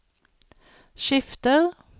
skifter